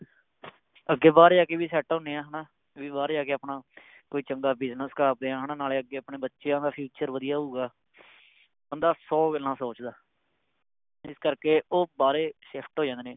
ਅੱਗੇ ਬਾਹਰ ਜਾ ਕੇ ਵੀ Set ਹੁੰਨੇ ਆ ਹੈ ਨਾ ਵੀ ਬਾਹਰ ਜਾ ਕੇ ਆਪਣਾ ਕੋਈ ਚੰਗਾ Business ਕਰਦੇ ਆ ਹੈ ਨਾ ਨਾਲੇ ਅੱਗੇ ਆਪਣੇ ਬੱਚਿਆਂ ਦਾ Future ਵਧੀਆ ਹੋਊਗਾ ਬੰਦਾ ਸੌ ਗੱਲਾਂ ਸੋਚਦਾ ਇਸ ਕਰਕੇ ਉਹ ਬਾਹਰੇ Shift ਹੋ ਜਾਂਦੇ ਨੇ